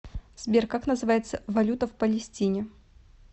сбер как называется валюта в палестине